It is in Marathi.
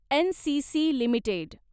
NCC limited